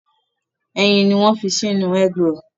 Ẹyin ni wọ́n ń fi sínú egg roll.